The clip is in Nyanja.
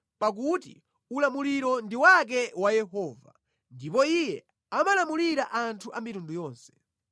pakuti ulamuliro ndi wake wa Yehova ndipo Iye amalamulira anthu a mitundu yonse.